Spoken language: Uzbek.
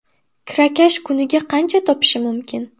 Kirakash kuniga qancha topishi mumkin?